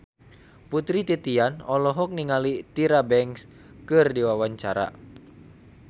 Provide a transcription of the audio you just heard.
Putri Titian olohok ningali Tyra Banks keur diwawancara